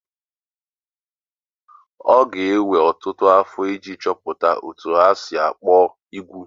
Ọ ga-ewe ọtụtụ afọ iji chọpụta otú e si kpụọ ugwu